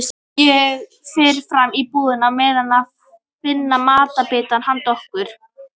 Ég fer fram í búrið á meðan að finna matarbita handa okkur.